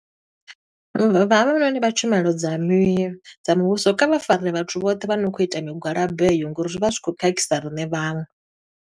Vha havhanoni vha tshumelo dza mi dza muvhuso, kha vha fare vhathu vhoṱhe vha no khou ita migwalabo heyo, ngo uri zwi vha zwi khou khakhisa riṋe vhaṅwe.